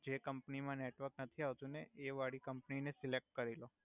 જે કમ્પની મા નેટવર્ક નથી આવતુ ને એ વાડી કમ્પની ને સિલેક્ટ કરી લો.